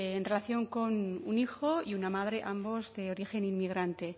en relación con un hijo y una madre ambos de origen inmigrante